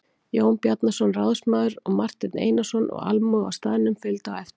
Jón Bjarnason ráðsmaður og Marteinn Einarsson og almúgi á staðnum fylgdi á eftir.